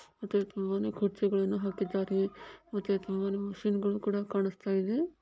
ಮತ್ತೆ ತುಂಬಾನೆ ಕುರ್ಚಿಗಳ್ಳನ್ನು ಹಾಕಿದ್ದಾರೆ ಮತ್ತು ತುಂಬಾನೆ ಮಷಿನ್ಗಳು ಕುಡಾ ಕಣ್ಣಿಸುತಿದೆ.